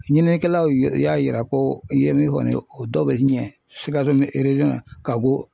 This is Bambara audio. Ɲininikɛlaw y'a yira ko i ye min fɔ nin ye o dɔw bɛ ɲɛ Sikaso na ka bɔ